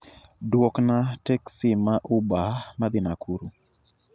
Duokna teksi ma uber madhi Nakuru